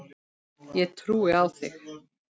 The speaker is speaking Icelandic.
Ég trúi á þig!